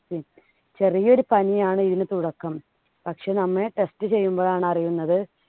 ചെറിയൊരു പനിയാണ് ഇതിന് തുടക്കം. പക്ഷേ നമ്മൾ test ചെയ്യുമ്പോഴാണ് അറിയുന്നത്